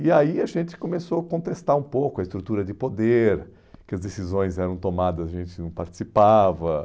E aí a gente começou a contestar um pouco a estrutura de poder, que as decisões eram tomadas e a gente não participava.